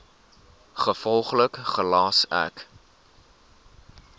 gevolglik gelas ek